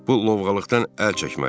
Bu lovğalıqdan əl çəkməlisən.